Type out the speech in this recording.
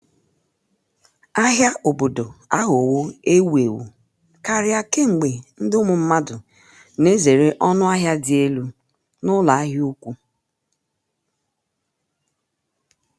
ahịa obodo aghọwo ewu ewu karị kemgbe ndị um mmadụ na-ezere ọnụ ahịa dị elu um n’ụlọ ahịa ukwu.